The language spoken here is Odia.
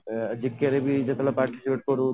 ଅଂ GK ରେ ବି ଯେତେବେଳେ participate କରୁ